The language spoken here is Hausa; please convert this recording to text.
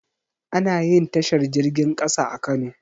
Anayin tashar jirgin ƙasa a kano